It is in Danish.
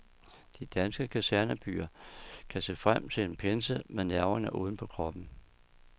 De danske kasernebyer kan se frem til en pinse med nerverne uden på kroppen.